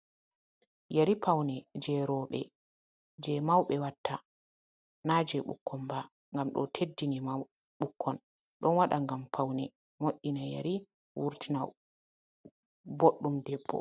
Yeri, paune jeroɓe je mawɓe watta na je ɓukkon ba. Ngam ɗo teddini ɓukkon ɗon waɗa ngam paune mo, ina yeri wurtina boɗɗum debbo.